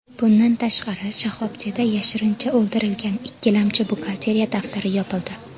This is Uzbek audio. Bundan tashqari, shoxobchada yashirincha to‘ldirilgan ikkilamchi buxgalteriya daftari topildi.